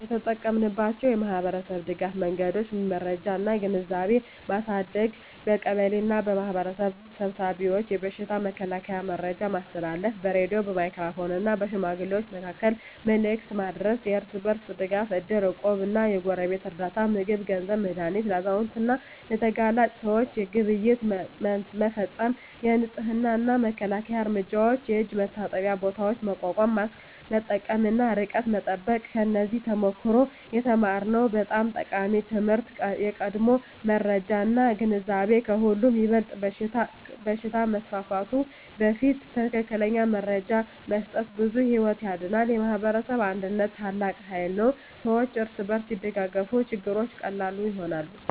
የተጠቀማችንባቸው የማኅበረሰብ ድጋፍ መንገዶች የመረጃ እና ግንዛቤ ማሳደግ በቀበሌ እና በማኅበረሰብ ስብሰባዎች የበሽታ መከላከያ መረጃ ማስተላለፍ በሬዲዮ፣ በሜጋፎን እና በሽማግሌዎች መካከል መልዕክት ማድረስ የእርስ በርስ ድጋፍ እድር፣ እቁብ እና የጎረቤት ርዳታ (ምግብ፣ ገንዘብ፣ መድሃኒት) ለአዛውንት እና ለተጋላጭ ሰዎች ግብይት መፈፀም የንፅህና እና መከላከያ እርምጃዎች የእጅ መታጠቢያ ቦታዎች ማቋቋም ማስክ መጠቀም እና ርቀት መጠበቅ ከዚያ ተሞክሮ የተማርነው በጣም ጠቃሚ ትምህርት የቀድሞ መረጃ እና ግንዛቤ ከሁሉ ይበልጣል በሽታ ከመስፋፋቱ በፊት ትክክለኛ መረጃ መስጠት ብዙ ሕይወት ያድናል። የማኅበረሰብ አንድነት ታላቅ ኃይል ነው ሰዎች እርስ በርስ ሲደጋገፉ ችግሮች ቀላል ይሆናሉ።